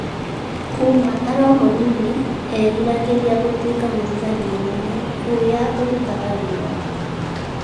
Kuuma arĩ o mũnini, eeriragĩria gũtuĩka mũthigari mũnene ũrĩa ũrutaga wĩra.